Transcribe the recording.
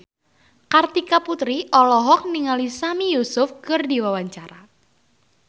Kartika Putri olohok ningali Sami Yusuf keur diwawancara